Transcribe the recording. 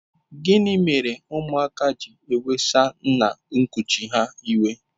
Gịnị mere ụmụaka ji ewesa nna nkuchi ha iwe?